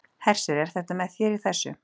Hersir: Er hann með þér í þessu?